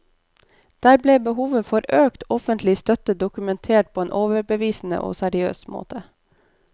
Der ble behovet for økt offentlig støtte dokumentert på en overbevisende og seriøs måte.